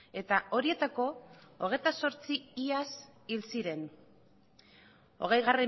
eta horietako hogeita zortzi iaz hil ziren hogei